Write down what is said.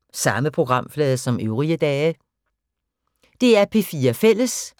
DR P4 Fælles